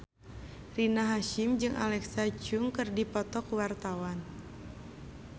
Rina Hasyim jeung Alexa Chung keur dipoto ku wartawan